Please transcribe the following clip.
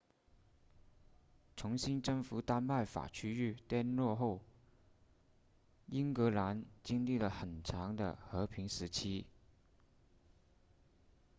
重新征服丹麦法区域 danelaw 后英格兰经历了很长的和平时期